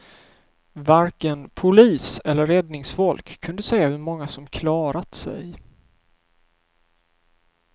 Varken polis eller räddningsfolk kunde säga hur många som klarat sig.